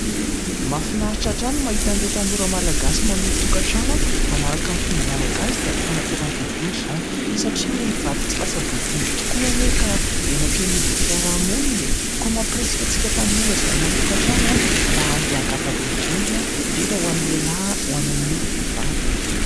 Mahafinaritra hatrany ny mahita an'ireo tanora Malagasy : manorin-tokantrano, manaraka amin'ny fomba Malagasy dia ny fananteram-bodiondry izany; satria ny vady tsy lasa-bodiondry tokoa anie ka henatra eo anivon'ny fiarahamonina e ! Koa mamporisika antsika tanora, izay hanori- tokantrano an ! mba handeha hangata-bodiondry, indrindra ho an'ny lehilahy ho any amin'ny vehivavy.